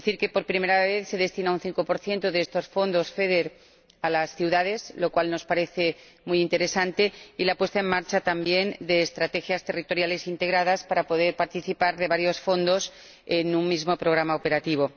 Por primera vez se destina un 5 de estos fondos FEDER a las ciudades, lo cual nos parece muy interesante, y se ponen en marcha también estrategias territoriales integradas para poder participar de varios fondos en un mismo programa operativo.